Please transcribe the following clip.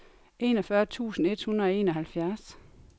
enogfyrre tusind et hundrede og enoghalvfjerds